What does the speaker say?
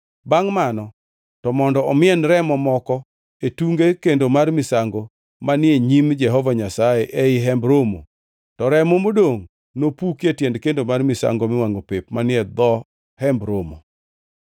Bangʼ mano to mondo omien remo moko e tunge kendo mar misango manie nyim Jehova Nyasaye ei Hemb Romo. To remo modongʼ nopuki e tiend kendo mar misango miwangʼo pep manie dho Hemb Romo.